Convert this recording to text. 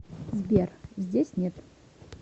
сбер здесь нет